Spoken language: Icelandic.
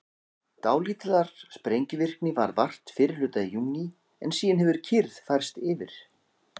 dálítillar sprengivirkni varð vart fyrri hluta júní en síðan hefur kyrrð færst yfir